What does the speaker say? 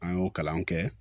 An y'o kalan kɛ